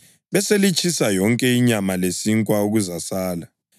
Beselitshisa yonke inyama lesinkwa okuzasala.